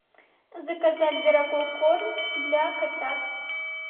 заказать дорогой корм для котят